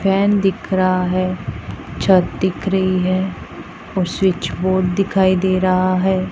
Fan दिख रहा है छत दिख रही है और स्विच बोर्ड दिखाई दे रहा है।